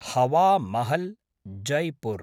Hawa Mahal, Jaipur